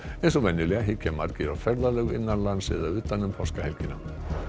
eins og venjulega hyggja margir á ferðalög innan lands eða utan um páskahelgina